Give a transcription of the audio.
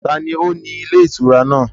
Taàní ó ní ilé ìtura náà?